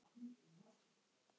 Mamma hefur kvatt.